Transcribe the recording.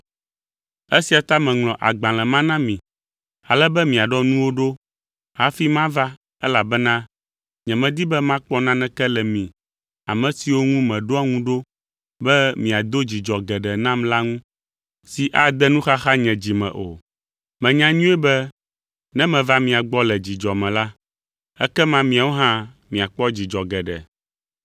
Esia ta meŋlɔ agbalẽ ma na mi, ale be miaɖɔ nuwo ɖo hafi mava elabena nyemedi be makpɔ naneke le mi, ame siwo ŋu meɖoa ŋu ɖo be miado dzidzɔ geɖe nam la ŋu, si ade nuxaxa nye dzi me o. Menya nyuie be ne meva mia gbɔ le dzidzɔ me la, ekema miawo hã miakpɔ dzidzɔ geɖe.